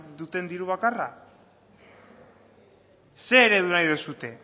duten diru bakarra zein eredu nahi duzue